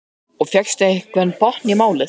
Hjörtur: Og fékkstu einhvern botn í málið?